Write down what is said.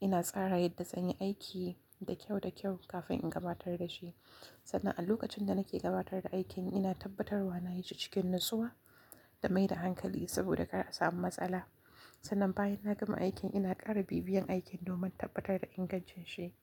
Ina tsara yadda zan yi aikin da kyau da kyau kafin in gabatar da shi. Sannan a lokacin da nake gabatar da aikin, ina tabbatarwa na yi shi cikin natsuwa da mai da hankali saboda kar a samu matsala. Sannan bayan na gama aikin, ina ƙara bibiyan aikin domin tabbatar da ingancin shi.